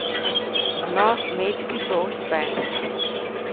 No, Metki to uspe!